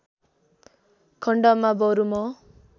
खण्डमा बरु म